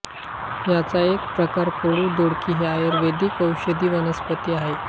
याचा एक प्रकार कडू दोडकी ही आयुर्वेदिक औषधी वनस्पती आहे